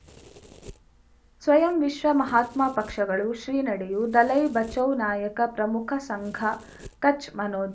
ಸ್ವಯಂ ವಿಶ್ವ ಮಹಾತ್ಮ ಪಕ್ಷಗಳು ಶ್ರೀ ನಡೆಯೂ ದಲೈ ಬಚೌ ನಾಯಕ ಪ್ರಮುಖ ಸಂಘ ಕಚ್ ಮನೋ